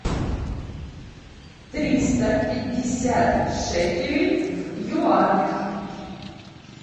триста пятьдесят шекелей в юанях